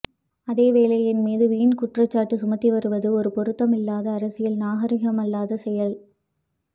அதேவேளை என் மீது வீண் குற்றச்சாட்டு சுமத்தி வருவது ஒரு பொருத்தமில்லாத அரசியல் நாகரிகமில்லாத செயல்